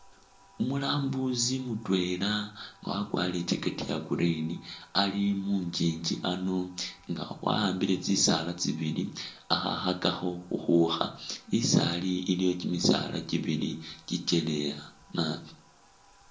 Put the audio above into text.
Umulambusi mutwela nga wakwarile i'jackect ya'green ali mugyigyi ano nga wa'ambile tsisaala tsibili khakhakakho khukhukha, isi ali iliwo kyimisaala kyibili kyikyaleya naabi